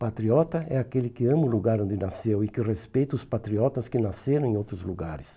Patriota é aquele que ama o lugar onde nasceu e que respeita os patriotas que nasceram em outros lugares.